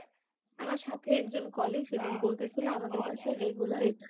আমার সাথের একজন কলিগ সেদিন বলতেছিল আমাদের বাসায় regular এই